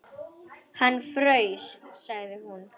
Hann fraus, sagði hún.